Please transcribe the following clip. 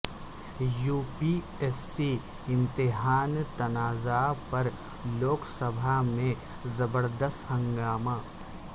UP S C امتحان تنازعہ پر لوک سبھا میں زبردست ہنگامہ